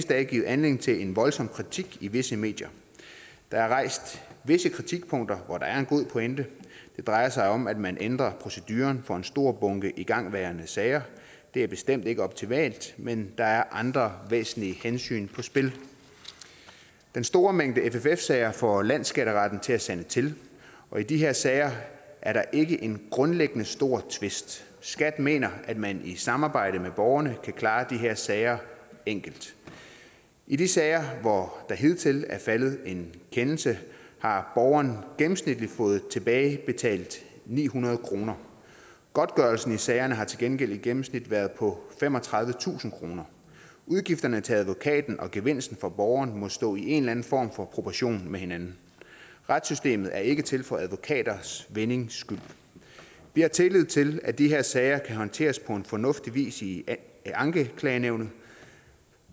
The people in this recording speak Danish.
dage givet anledning til en voldsom kritik i visse medier der er rejst visse kritikpunkter hvor der er en god pointe det drejer sig om at man ændrer proceduren for en stor bunke igangværende sager det er bestemt ikke optimalt men der er andre væsentlige hensyn på spil den store mængde fff sager får landsskatteretten til at sande til og i de her sager er der ikke en grundlæggende stor tvist skat mener at man i samarbejde med borgerne kan klare de her sager enkelt i de sager hvor der hidtil er faldet en kendelse har borgeren gennemsnitligt fået tilbagebetalt ni hundrede kroner godtgørelsen i sagerne har til gengæld i gennemsnit været på femogtredivetusind kroner udgifterne til advokaten og gevinsten for borgeren må stå i en eller anden form for proportion med hinanden retssystemet er ikke til for advokaters vindings skyld vi har tillid til at de her sager kan håndteres på fornuftig vis i ankenævnene